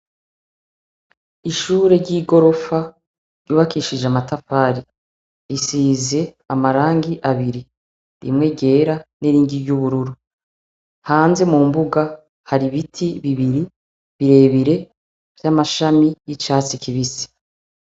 Ishure ry'igorofa ryubakishije amatafari. Risize amarangi abiri, rimwe ryera n'irindi ry'ubururu. Hanze mu mbuga hari ibiti bibiri birebire vy'amashami y'icatsi kibisi.